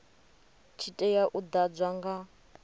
tshi tea u ḓadzwa nga